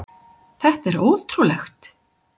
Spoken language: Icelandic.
Þetta er ótrúlegt!